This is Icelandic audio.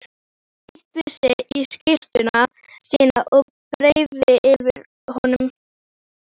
Hann teygði sig í skyrtuna sína og breiddi yfir höfuð.